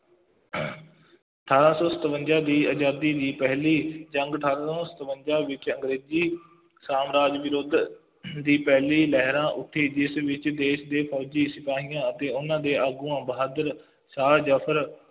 ਅਠਾਰਾਂ ਸੌ ਸਤਵੰਜ਼ਾ ਦੀ ਆਜ਼ਾਦੀ ਦੀ ਪਹਿਲੀ ਜੰਗ, ਅਠਾਰਾਂ ਸੌਂ ਸਤਵੰਜ਼ਾ ਵਿੱਚ ਅੰਗਰੇਜ਼ੀ ਸਾਮਰਾਜ ਵਿਰੁੱਧ ਦੀ ਪਹਿਲੀ ਲਹਿਰਾਂ ਉੱਠੀ, ਜਿਸ ਵਿੱਚ ਦੇਸ਼ ਦੇ ਫੌਜੀ ਸਿਪਾਹੀਆਂ ਅਤੇ ਉਹਨਾ ਦੇ ਆਗੂਆਂ ਬਹਾਦਰ ਸ਼ਾਹ ਜ਼ਫਰ